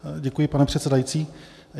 Děkuji, pane předsedající.